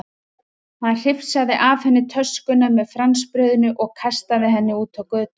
Hann hrifsaði af henni töskuna með franskbrauðinu og kastaði henni út á götu.